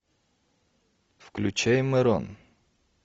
включай мэрон